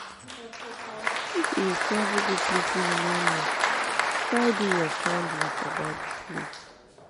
If you de travel go place wey you no know try do your findings about di place